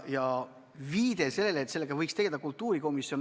Sinu suust kõlas viide, et sellega võiks tegeleda kultuurikomisjon.